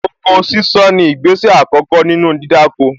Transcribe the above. Oko sísán ni ìgbésẹ̀ àkọ́kọ́ nínú dídáko